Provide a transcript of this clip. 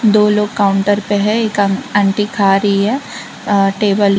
दो लोग काउंटर पे है एक आंटी खा रही है अ टेबल --